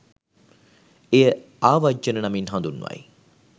එය ආවජ්ජන නමින් හඳුන්වයි